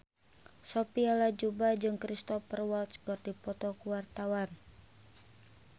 Sophia Latjuba jeung Cristhoper Waltz keur dipoto ku wartawan